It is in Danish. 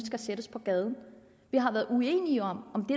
skal sættes på gaden vi har været uenige om om det